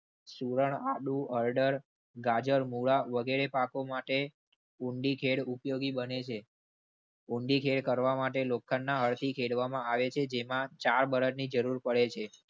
આડું હરદર ઓર્ડર ગાજર, મૂળા વગેરે પાકો માટે ઉપયોગી બને છે. કરવા માટે લોખંડના કરવામાં આવી છે. જેમાં ચાર બરની જરૂર પડે છે.